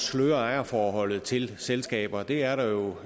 at sløre ejerforholdet til selskaber det er der jo